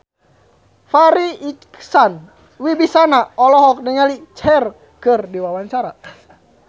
Farri Icksan Wibisana olohok ningali Cher keur diwawancara